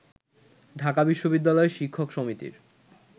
ঢাকা বিশ্ববিদ্যালয় শিক্ষক সমিতির